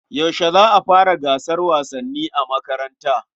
Yaushe za a fara gasar wasanni a makaranta?